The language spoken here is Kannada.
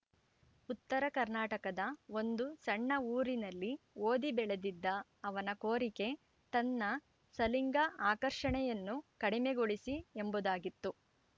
ಉತ್ತರ ಕರ್ನಾಟಕದ ಒಂದು ಸಣ್ಣ ಊರಿನಲ್ಲಿ ಓದಿ ಬೆಳೆದಿದ್ದ ಅವನ ಕೋರಿಕೆ ತನ್ನ ಸಲಿಂಗ ಆಕರ್ಷಣೆಯನ್ನು ಕಡಿಮೆಗೊಳಿಸಿ ಎಂಬುದಾಗಿತ್ತು